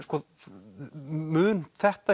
mun þetta